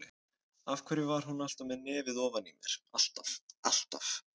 Af hverju var hún alltaf með nefið ofan í mér, alltaf, alltaf.